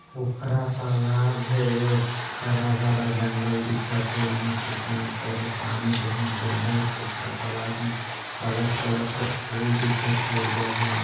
पोखरा तालाब हे हरा-भरा जंगल दिखत हे एहां पे पेड़ पौधा पानी बहुत ज्यादा है पोखरा तालाब में कलर कालर कर फूल दिखत हे जगह--